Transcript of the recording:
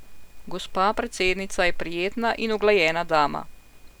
Gospa predsednica je prijetna in uglajena dama.